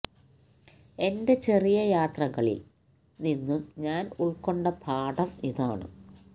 എന്റെ ചെറിയ യാത്രകളില് നിന്നും ഞാന് ഉള്കൊണ്ട പാഠം ഇതാണ്